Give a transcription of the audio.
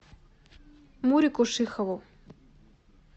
мурику шихову